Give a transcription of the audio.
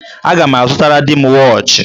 Aga m azụtara di m wọọchị.